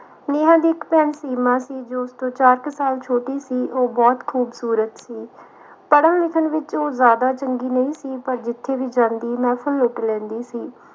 ਨੇਹਾ ਦੀ ਇਕ ਭੈਣ ਸੀਮਾ ਸੀ ਜੋ ਕਿ ਉਸ ਤੋਂ ਚਾਰ ਕੁ ਸਾਲ ਛੋਟੀ ਸੀ ਉਹ ਬਹੁਤ ਖੂਬਸੂਰਤ ਸੀ ਪੜਨ ਲਿਖਣ ਵਿਚ ਉਹ ਜਿਆਦਾ ਚੰਗੀ ਨਹੀਂ ਪਰ ਜਿਥੇ ਵੀ ਜਾਂਦੀ ਮੌਸਮ ਲੁੱਟ ਲੈਂਦੀ ਸੀ